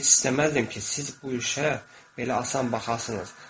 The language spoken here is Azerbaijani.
Mən isə heç istəməzdim ki, siz bu işə belə asan baxasınız.